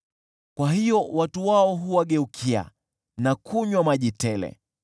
Kwa hiyo watu wao huwageukia na kunywa maji tele.